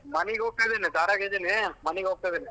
ಮನಿಗ್ ಹೋಗ್ತಾ ಇದಿನಿ ದಾರ್ಯಾಗ ಇದೀನಿ ಮನಿಗ್ ಹೋಗ್ತಾ ಇದೀನಿ.